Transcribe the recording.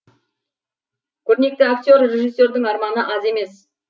көрнекті актер режиссердің арманы аз емес